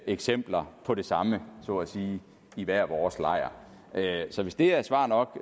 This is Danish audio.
eksempler på det samme så at sige i hver vores lejr så hvis det er svar nok